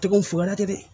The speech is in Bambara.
Tɛkun foro la tɛ dɛ